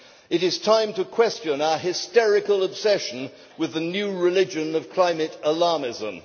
It is time to question our hysterical obsession with the new religion of climate alarmism.